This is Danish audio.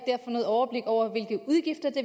noget overblik over